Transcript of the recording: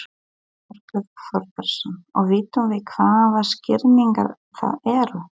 Þorbjörn Þórðarson: Og vitum við hvaða skýringar það eru?